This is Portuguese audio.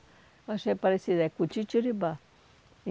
Eu achei parecida, é cutitiribá.